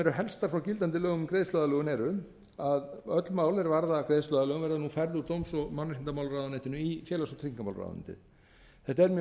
eru helstar frá gildandi lögum um greiðsluaðlögun eru að öll mál er varða greiðsluaðlögun verða nú færð úr dóms og mannréttindamálaráðuneytinu í félags og tryggingamálaráðuneytið þetta er mjög